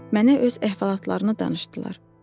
Mənə öz əhvalatlarını danışdılar.